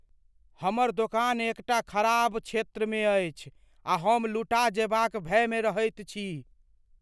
हमर दोकान एकटा खराब क्षेत्रमे अछि आ हम लुटा जयबाक भयमे रहैत छी।